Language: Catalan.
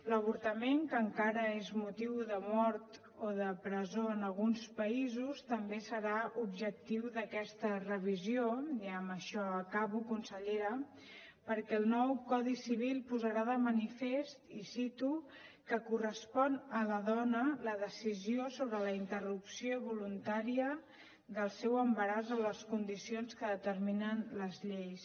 l’avortament que encara és motiu de mort o de presó en alguns països també serà objectiu d’aquesta revisió i amb això acabo consellera perquè el nou codi civil posarà de manifest i ho cito que correspon a la dona la decisió sobre la interrupció voluntària del seu embaràs a les condicions que determinen les lleis